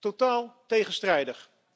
Totaal tegenstrijdig.